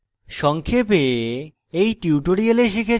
সংক্ষেপে